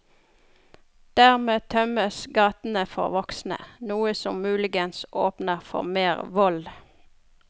Dermed tømmes gatene for voksne, noe som muligens åpner for mer vold.